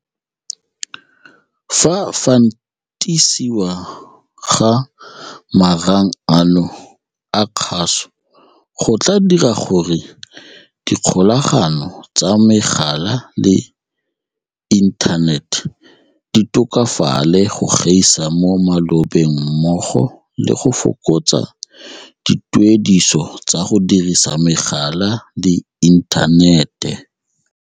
Go fantisiwa ga marang ano a kgaso go tla dira gore dikgolagano tsa megala le inthanete di tokafale go gaisa mo malobeng mmogo le go fokotsa dituediso tsa go dirisa megala le inthanete.